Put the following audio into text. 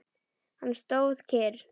Hann stóð kyrr.